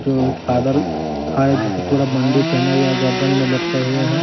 जो एक फादर जिसको पूरा बंडी पहना हुआ है गर्दन में लपटे हुए हैं।